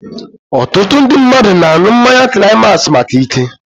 Otutu ndị mmadụ na-aṅụ mmanya climax maka ike